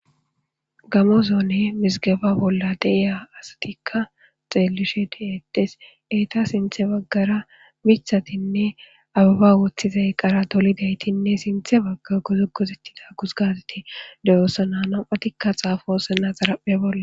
Gamo zone misigaba bolla deiya asatikka xeelishe diedes eeta sinthe baggara mithatinne ababa woththizay qara dolidaytinne sinthe bagga gozugosettida gusgazati deyoossa naanapatikka xaafosena xaraphe bolla.